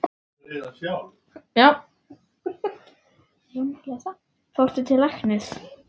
Fórstu til læknis?